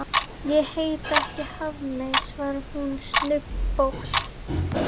Ég heiti ekki Hafmey, svarar hún snubbótt.